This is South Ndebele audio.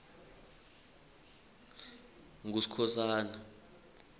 nguskhosana